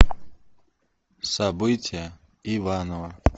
события иваново